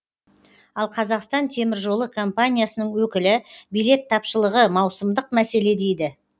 ал қазақстан теміржолы компаниясының өкілі билет тапшылығы маусымдық мәселе дейді